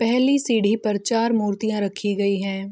पेहली सीढी पर चार मुर्तिया रखी गई है ।